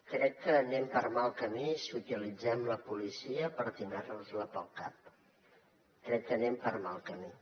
crec que anem per mal camí si utilitzem la policia per tirar nos la pel cap crec que anem per mal camí